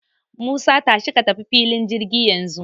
Musa, tashi ka tafi filin jirgi yanzu.